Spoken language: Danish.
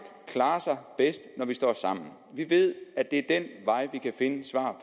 klarer sig bedst når vi står sammen vi ved at det er ad den vej vi kan finde svar